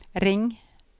ring